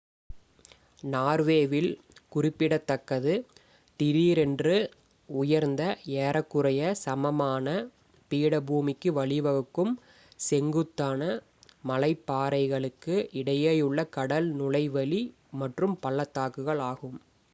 நார்வேவில் குறிப்பிடத்தக்கது திடீரென்று உயர்ந்த ஏறக்குறைய சமமான பீடபூமிக்கு வழிவகுக்கும் செங்குத்தான மலைப்பாறைகளுக்கு இடையேயுள்ள கடல் நுழைவழி மற்றும் பள்ளத்தாக்குகள் ஆகும்